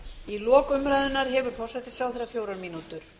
í lok umræðunnar hefur forsætisráðherra fjórar mínútur